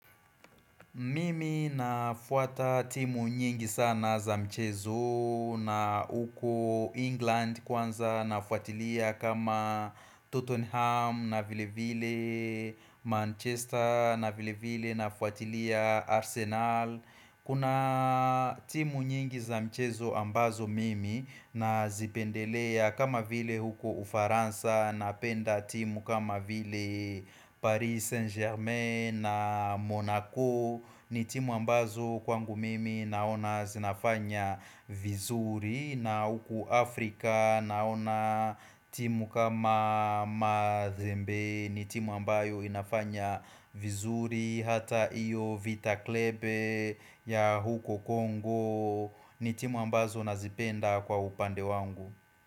Mimi nafuata timu nyingi sana za mchezo na huko England kwanza nafuatilia kama Tottenham na vile vile Manchester na vile vile nafuatilia Arsenal. Kuna timu nyingi za mchezo ambazo mimi na zipendelea kama vile huko ufaransa napenda timu kama vile Paris Saint Germain na Monaco ni timu ambazo kwangu mimi naona zinafanya vizuri na huko Afrika naona timu kama Madhembe ni timu ambayo inafanya vizuri Hata iyo vita Klebe ya huko Kongo ni timu ambazo nazipenda kwa upande wangu.